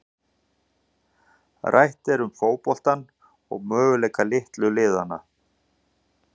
Rætt er um fótboltann og möguleika litlu liðanna.